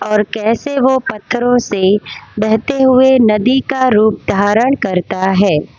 और कैसे वो पत्थरों से बहते हुए नदी का रूप धारण करता है।